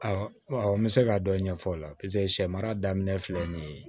n bɛ se ka dɔ ɲɛfɔ o la sɛ mara daminɛ filɛ nin ye